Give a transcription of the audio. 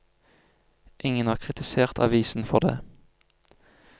Ingen har kritisert avisen for dét.